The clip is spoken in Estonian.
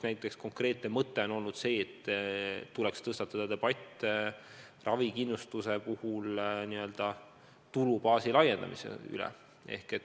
Näiteks üks konkreetne mõte on olnud see, et tuleks tõstatada debatt ravikindlustuse n-ö tulubaasi laiendamise üle.